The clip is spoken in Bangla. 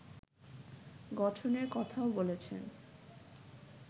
গঠনের কথাও বলেছেন